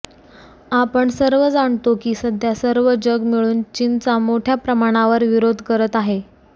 आपण सर्व जाणतो की सध्या सर्व जग मिळून चीनचा मोठ्या प्रमाणावर विरोध करत आहे